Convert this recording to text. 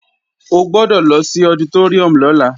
O gbọ́dọ̀ lọ sí ọditóríùm lọ́la